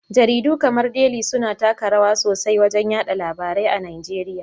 Jaridu kamar Deli suna taka rawa sosai wajen yaɗa labarai a Nigeriya.